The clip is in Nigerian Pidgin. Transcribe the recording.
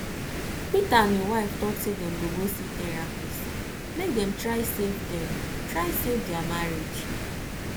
peter and im wife talk say dem go go see therapist make dem try save dem try save their marriage